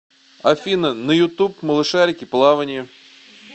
афина на ютуб малышарики плавание